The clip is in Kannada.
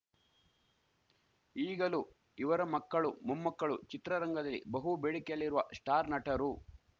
ಈಗಲೂ ಇವರ ಮಕ್ಕಳು ಮೊಮ್ಮಕ್ಕಳು ಚಿತ್ರರಂಗಲ್ಲಿ ಬಹು ಬೇಡಿಕೆಯಲ್ಲಿರುವ ಸ್ಟಾರ್‌ ನಟರು